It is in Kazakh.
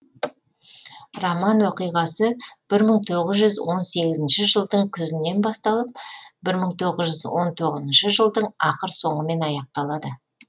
роман оқиғасы бір мың тоғыз жүз он сегізінші жылдың күзінен басталып бір мың тоғыз жүз он тоғызыншы жылдың ақыр соңымен аяқталады